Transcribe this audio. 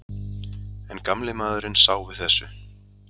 En gamli maðurinn sá við þessu.